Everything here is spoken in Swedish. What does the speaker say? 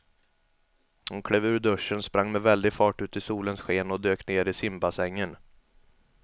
Hon klev ur duschen, sprang med väldig fart ut i solens sken och dök ner i simbassängen.